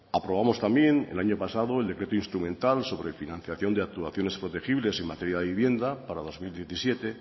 aprobamos también el año pasado el decreto instrumental sobre financiación de actuaciones protegibles en materia de vivienda para dos mil diecisiete